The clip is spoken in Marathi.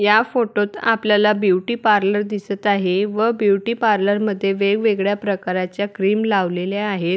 या फोटोत आपल्याला ब्युटी पार्लर दिसत आहे व ब्युटी पार्लर मध्ये वेगवेगळ्या प्रकाराच्या क्रीम लावलेल्या आहेत.